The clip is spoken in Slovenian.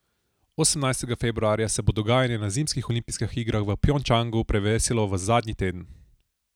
Osemnajstega februarja se bo dogajanje na zimskih olimpijskih igrah v Pjongčangu prevesilo v zadnji teden.